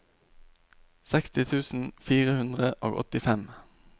seksti tusen fire hundre og åttifem